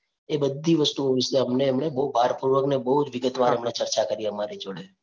એ બધી વસ્તુઓ વિશે અમને એમણે બહુભારપૂર્વક અને બહુ વિગતવાર ચર્ચા કરી અમારી જોડે.